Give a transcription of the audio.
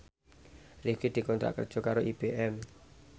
Rifqi dikontrak kerja karo IBM